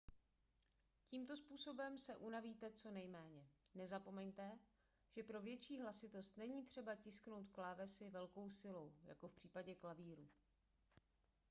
tímto způsobem se unavíte co nejméně nezapomeňte že pro větší hlasitost není třeba tisknout klávesy velkou silou jako v případě klavíru